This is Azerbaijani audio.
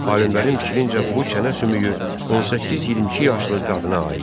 Alimlərin fikrincə bu çənə sümüyü 18-22 yaşlı qadına aiddir.